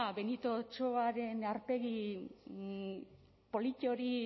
benito otsoaren aurpegi polit hori